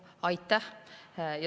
Aitäh!